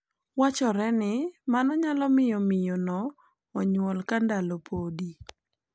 Wachore ni mano nyalo miyo miyo no onyuol ka ndalo podi.